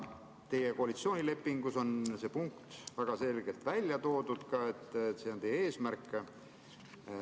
Teie koalitsioonilepingus on see punkt väga selgelt välja toodud, see on teie eesmärk.